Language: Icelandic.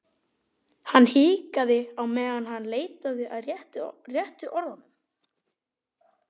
Hann hikaði á meðan hann leitaði að réttu orðunum.